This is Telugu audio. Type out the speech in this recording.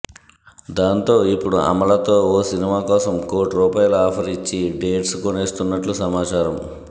దాంతో ఇప్పుడు అమలతో ఓ సినిమా కోసం కోటి రూపాయల ఆఫర్ ఇచ్చి డేట్స్ కోనేస్తున్నట్లు సమాచారం